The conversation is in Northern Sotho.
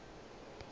ga o bone gore o